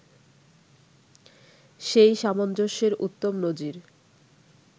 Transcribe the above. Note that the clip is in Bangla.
সেই সামঞ্জস্যের উত্তম নজির